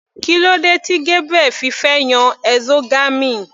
Kílódé tí Gabriel fi fẹ́ yan exogamy.